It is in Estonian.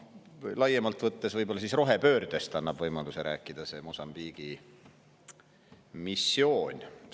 Laiemalt võttes annab see Mosambiigi missioon võimaluse rääkida ka rohepöördest.